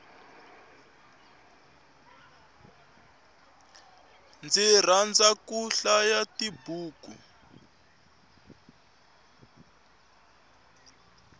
ndzi rhandza ku hlaya tibuku